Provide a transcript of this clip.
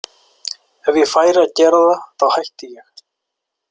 Ef ég færi að gera það þá hætti ég.